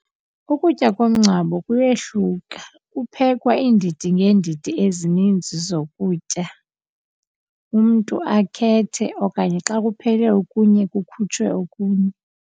Ukutya komngcwabo kuyehluka kuphekwa iindidi ngeendidi ezininzi zokutyam umntu akhethe okanye xa kuphele okunye kukhutshwe okunye.